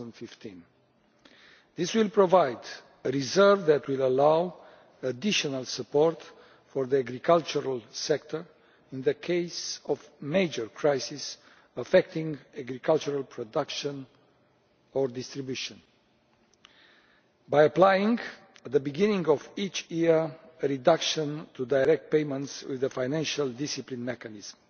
2015. This will provide a reserve that will allow additional support for the agricultural sector in the case of a natural crisis affecting agricultural production or distribution, by applying, at the beginning of each year, a reduction to direct payments with a financial discipline mechanism.